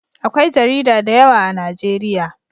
Akwai jarida da yawa a najeriya